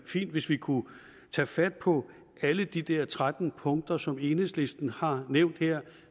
fint hvis vi kunne tage fat på alle de der tretten punkter som enhedslisten har nævnt her